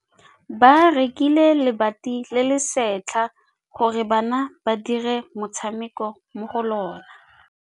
Ba rekile lebati le le setlha gore bana ba dire motshameko mo go lona.